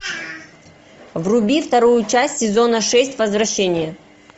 вруби вторую часть сезона шесть возвращение